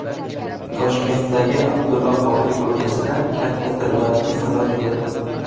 Toshkentdagi Abdulla Qodiriy ko‘chasida katta tirbandlik kuzatildi.